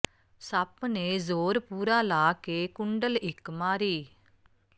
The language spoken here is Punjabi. ਸੱਪ ਨੇ ਜ਼ੋਰ ਪੂਰਾ ਲਾ ਕੇ ਕੁੰਡਲ ਇਕ ਮਾਰੀ